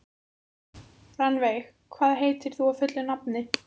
Rannveig, hvað heitir þú fullu nafni?